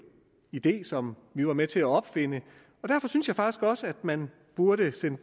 idé som vi var med til at opfinde derfor synes jeg faktisk også at man burde sende